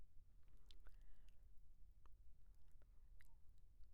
ভাৰতীয় নৌ সেনাৰ এজন জোৱানে অকলে গোটেই জগতখনত নাৱেৰে যাত্ৰা কৰিছিল। এইটো সঁচাই উল্লেখযোগ্য, সাধাৰণ আৰু সৰল!